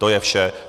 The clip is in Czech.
To je vše.